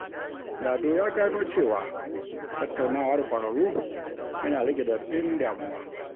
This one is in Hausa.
Lado ya gano cewa tattaunawa da ƙwararru yana rage radadin damuwa.